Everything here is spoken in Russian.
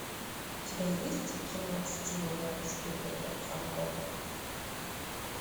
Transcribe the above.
у тебя есть кино стивена спилберга фарго